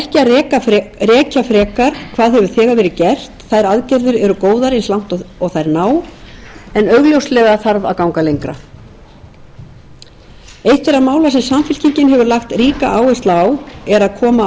þær aðgerðir eru góðar eins langt og þær ná en augljóslega þarf að ganga lengra eitt þeirra mála sem samfylkingin hefur lagt ríka áherslu á er að koma á